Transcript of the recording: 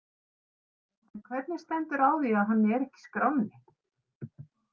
En hvernig stendur á því að hann er ekki í skránni?